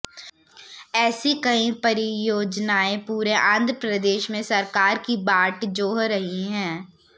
ऐसी कई परियोजनाएं पूरे आंध्र प्रदेश में सरकार की बाट जोह रही हैं